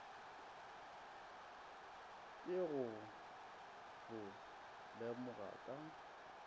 ke go bo lemoga ka